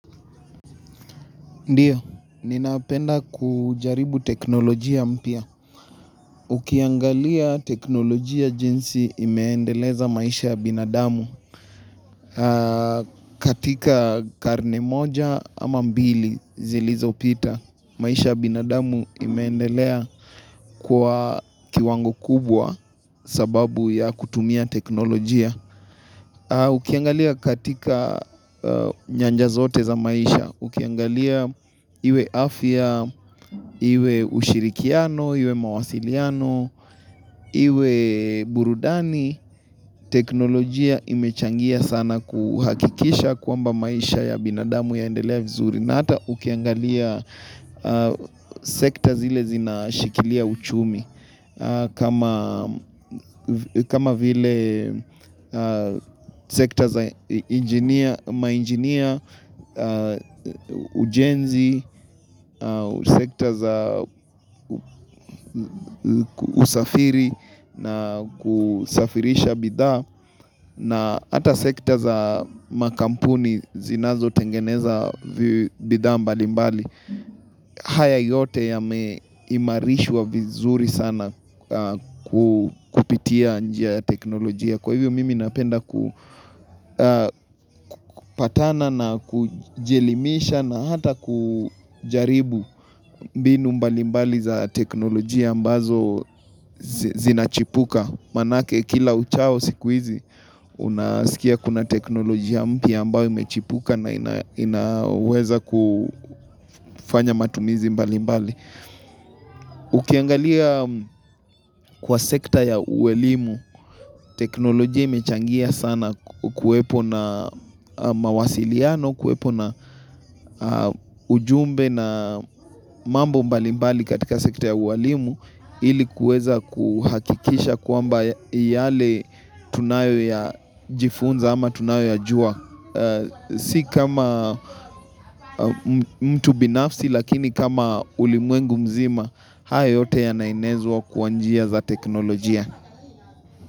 Ndio, ninapenda kujaribu teknolojia mpia. Ukiangalia teknolojia jinsi imeendeleza maisha ya binadamu katika karne moja ama mbili zilizopita. Maisha ya binadamu imeendelea kwa kiwango kubwa sababu ya kutumia teknolojia. Ukiangalia katika nyanja zote za maisha, ukiangalia iwe afia, iwe ushirikiano, iwe mawasiliano, iwe burudani, teknolojia imechangia sana kuhakikisha kwamba maisha ya binadamu yaendelea vizuri. Na hata ukiangalia sekta zile zinashikilia uchumi kama vile sekta za mainjinia, ujenzi, sekta za usafiri na kusafirisha bidhaa na hata sekta za makampuni zinazotengeneza bidhaa mbalimbali haya yote yameimarishwa vizuri sana kupitia njia ya teknolojia Kwa hivyo mimi napenda kupatana na kujielimisha na hata kujaribu mbinu mbalimbali za teknolojia ambazo zinachipuka Manake kila uchao siku hizi, unasikia kuna teknolojia mpia ambayo imechipuka na inaweza kufanya matumizi mbalimbali. Ukiangalia kwa sekta ya uwalimu, teknolojia imechangia sana kuwepo na mawasiliano, kuwepo na ujumbe na mambo mbalimbali katika sekta ya uwalimu ili kuweza kuhakikisha kwamba yale tunayojifunza ama tunayoyajua. Si kama mtu binafsi lakini kama ulimwengu mzima, hayo yote yanaenezwa kwa njia za teknolojia.